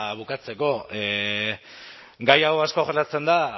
bukatzeko gai hau asko jorratzen da